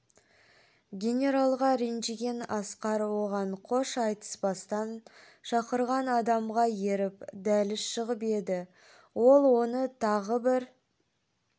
генералға ренжіген асқар оған қош айтыспастан шақырған адамға еріп дәліз шығып еді ол оны тағы бір